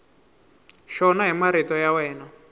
xona hi marito ya wena